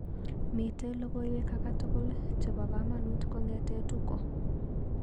Mitee logoiwek akatukul chebo kamanut kong'ete Tuko?